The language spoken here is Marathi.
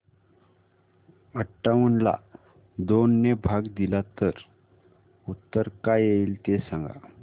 अठावन्न ला दोन ने भाग दिला तर उत्तर काय येईल ते सांगा